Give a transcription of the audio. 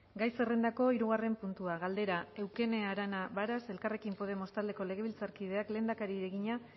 gai zerrendako hirugarren puntua galdera eukene arana varas elkarrekin podemos taldeko legebiltzarkideak lehendakariari egina